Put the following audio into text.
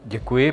Děkuji.